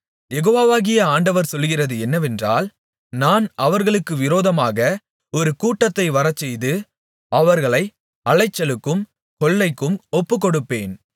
யெகோவாகிய ஆண்டவர் சொல்லுகிறது என்னவென்றால் நான் அவர்களுக்கு விரோதமாக ஒரு கூட்டத்தை வரச்செய்து அவர்களை அலைச்சலுக்கும் கொள்ளைக்கும் ஒப்புக்கொடுப்பேன்